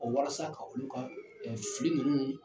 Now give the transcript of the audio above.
Ɔɔ walasa ka olu ka ɛɛ fili nunnu